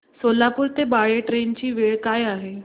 सोलापूर ते बाळे ट्रेन ची वेळ काय आहे